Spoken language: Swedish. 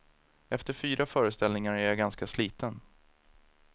Efter fyra föreställningar är jag ganska sliten.